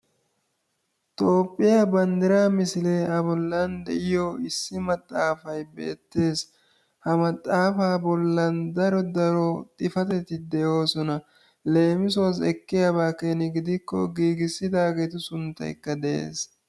Toophphiyaa bandiraa misilee a bollan de'iyoo issi maxaafay beettees. Ha mxaafaa bollaan daro daro xifateti de"oosona. Leemisuwaasi ekkiyaaba keena gidikko giigissidaagetu sunttayka de'ees.